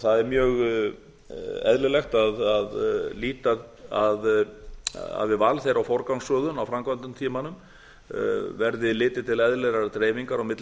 það er mjög eðlilegt að við val þeirra og forgangsröðun á framkvæmdatímanum verði litið til eðlilegrar dreifingar á milli